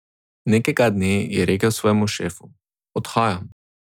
Nekega dne je rekel svojemu šefu: "Odhajam.